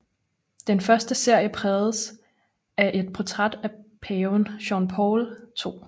Den første serie prægedes af et portræt af paven Johannes Paul II